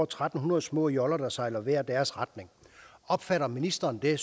tre hundrede små joller der sejler i hver deres retning opfatter ministeren det